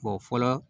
fɔlɔ